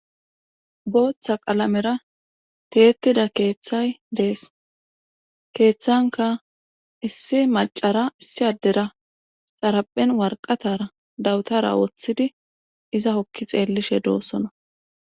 booththa qalamera teeytida keeththay dees keeththanka issi macara issi addera xaraphen warqatara dawutara wooththidi iza hokki xeellishe doossona